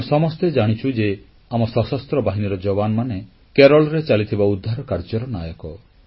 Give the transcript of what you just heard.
ଆମେ ସମସ୍ତେ ଜାଣିଛୁ ଯେ ଆମ ସଶସ୍ତ୍ର ବାହିନୀର ଯବାନମାନେ କେରଳରେ ଚାଲିଥିବା ଉଦ୍ଧାର କାର୍ଯ୍ୟର ନାୟକ